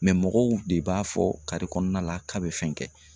mɔgɔw de b'a fɔ kare kɔnɔna la k'a bɛ fɛn kɛ